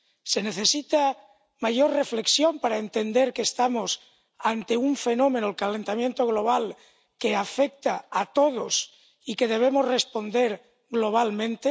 ¿Se necesita mayor reflexión para entender que estamos ante un fenómeno —el calentamiento global— que afecta a todos y al que debemos responder globalmente?